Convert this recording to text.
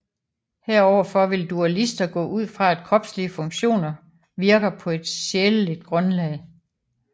Heroverfor vil dualister gå ud fra at kropslige funktioner virker på et sjæleligt grundlag